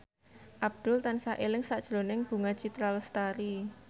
Abdul tansah eling sakjroning Bunga Citra Lestari